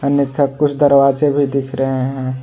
अन्यथा कुछ दरवाजे भी दिख रहे हैं।